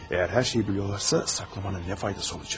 Əgər hər şeyi bilirlərsə, gizlətməyin nə faydası olacaq?